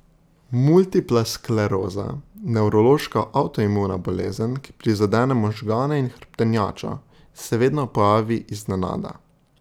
Multipla skleroza, nevrološka avtoimuna bolezen, ki prizadene možgane in hrbtenjačo, se vedno pojavi iznenada.